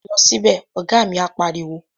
Lọ sí bẹ̀! Ọ̀gá mi á pariwo